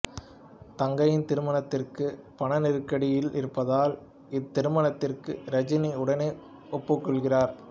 தங்கையின் திருமணத்திற்கு பணநெருக்கடியில் இருப்பதால் இத்திருமணத்திற்கு ரஜினி உடனே ஒப்புக்கொள்கிறார்